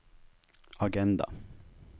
agenda